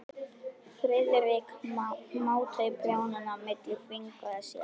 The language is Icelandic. Friðrik mátaði prjónana milli fingra sér.